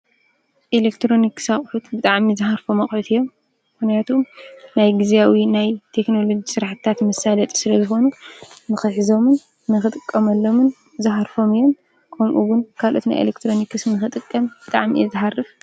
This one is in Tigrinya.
ኢሌክትሮኒኪስ ኣቁሑት ብጣዕሚ ዝሃርፎም ኣቁሑት እዮም። ምክንያቱም ናይ ግዝያዊ ናይ ቴክኖሎጂ ስራሕቲታት መሳለጢ ስለ ዝኮኑ ንክሕዞምምን ንክጥቀመሎምን ዝሃርፎም እዮም። ከምኡ እዉን ካልኦት ናይ ኢሌክትሮኒኪስ ንክጥቀም ብጣዕሚ እየ ዝሃርፍ።